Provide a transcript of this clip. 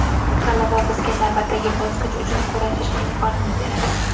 G‘alaba bizga navbatdagi bosqich uchun kurashish imkonini beradi.